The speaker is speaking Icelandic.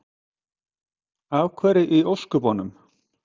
Af hverju í ósköpunum?